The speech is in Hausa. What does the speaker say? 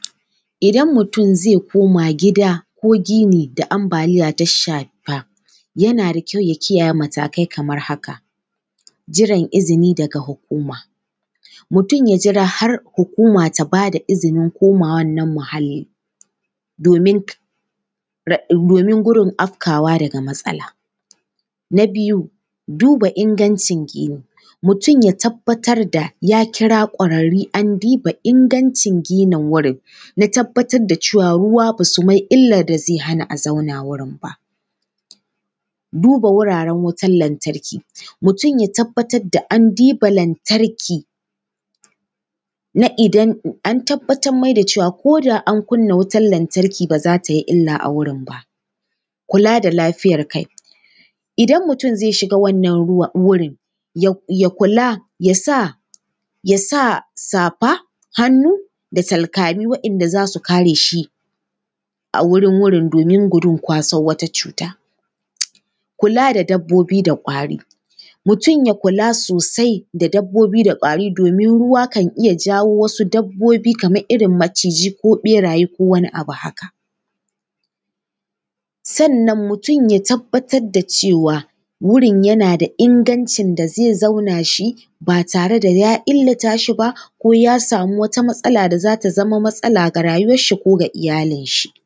Idan mutum zai koma gida ko gini da ambaliya ta shafa, yana da kyau ya kiyaye matakai kamar haka: jiran izini daga hukuma, mutum ya jira har hukuma ta ba da izinin komawar nan muhalli, domin gudun afkawa daga matsala. Na biyu, duba ingancin gini, mutum ya tabbatar da ya kira ƙwararri an duba, an diba ingancin gini wurin, na tabbatar da cewa ruwa ba su mai illar da zai hana a zauna wurin ba. Duba wuraren wutar lantarki, mutum ya tabbatar da an diba lantarki na idan an tabbatar mai da cewa, ko da an kunna wutar lantarki ba za ta yi illa a wurin ba. Kula da lafiyar kai, idan mutum zai shiga wannan ruwan, wurin ya kula, ya sa, ya sa, safar hannu da talkami wanda za su kare shi a wurin wurin domin gudun kwasar cuta. Kula da dabbobi da ƙwari, mutum ya kula sosai da dabbobi da ƙwari domin ruwa kan iya jawo wasu dabbobi kamar irin majici ko ɓeraye ko wani abu haka. Sannan mutum ya tabbatar da cewa wurin yana da ingancin da zai zauna shi, ba tare da ya illata shi ba ko ya samu wata matsala da za ta zama matsala ga rayuwarshi ko ga iyalinshi.